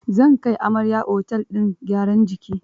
Zan kai amaryar otel din gyaran jiki.